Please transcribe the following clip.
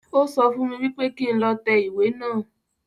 O sọ fún mi wípé kí n lọ tẹ ìwé naa